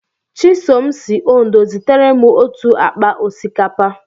Chisom si Ondo zitere m otu akpa osikapa.